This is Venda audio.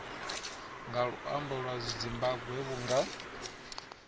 nga luambo lwa zimbambwe vhunga